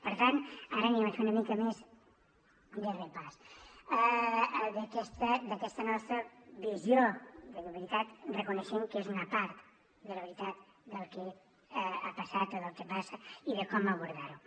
per tant ara farem una mica més de repàs d’aquesta nostra visió de veritat reconeixent que és una part de la veritat del que ha passat o del que passa i de com abordar ho